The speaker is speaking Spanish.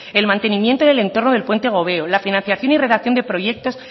el mantenimiento del entorno del puente gobeo la financiación y redacción de proyectos